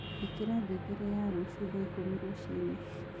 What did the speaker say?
ĩkĩra ngengere ya rũcĩũ thaa ĩkumi rũcĩĩnĩ